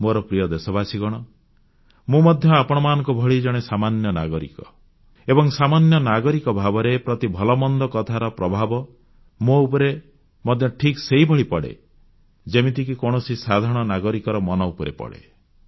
ମୋର ପ୍ରିୟ ଦେଶବାସୀଗଣ ମୁଁ ମଧ୍ୟ ଆପଣମାନଙ୍କ ଭଳି ଜଣେ ସାମାନ୍ୟ ନାଗରିକ ଏବଂ ସାମାନ୍ୟ ନାଗରିକ ଭାବରେ ପ୍ରତି ଭଲମନ୍ଦ କଥାର ପ୍ରଭାବ ମୋ ଉପରେ ମଧ୍ୟ ଠିକ୍ ସେହିଭଳି ପଡ଼େ ଯେମିତିକି କୌଣସି ସାଧାରଣ ନାଗରିକର ମନ ଉପରେ ପଡ଼େ